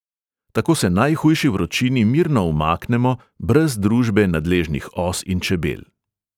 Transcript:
Tako se najhujši vročini mirno umaknemo, brez družbe nadležnih os in čebel.